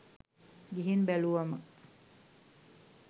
ගිහින් බැලුවම